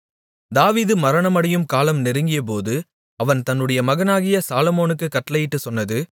தாவீது மரணமடையும் காலம் நெருங்கியபோது அவன் தன்னுடைய மகனாகிய சாலொமோனுக்குக் கட்டளையிட்டுச் சொன்னது